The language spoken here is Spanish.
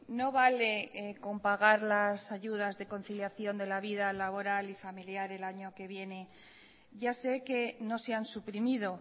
no vale con pagar las ayudas de conciliación de la vida laboral y familiar el año que viene ya sé que no se han suprimido